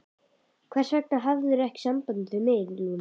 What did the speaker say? Hvers vegna hafðirðu ekki samband við mig, Lúna?